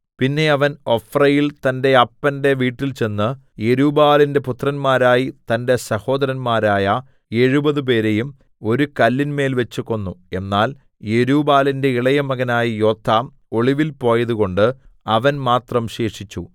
പിന്നെ അവൻ ഒഫ്രയിൽ തന്റെ അപ്പന്റെ വീട്ടിൽചെന്ന് യെരുബ്ബാലിന്റെ പുത്രന്മാരായി തന്റെ സഹോദരന്മാരായ എഴുപതുപേരെയും ഒരു കല്ലിന്മേൽവെച്ച് കൊന്നു എന്നാൽ യെരുബ്ബാലിന്റെ ഇളയമകനായ യോഥാം ഒളിവിൽ പോയതുകൊണ്ട് അവൻ മാത്രം ശേഷിച്ചു